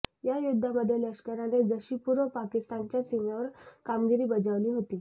या युद्धामध्ये लष्कराने जशी पूर्व पाकिस्तानच्या सीमेवर कामगिरी बजावली होती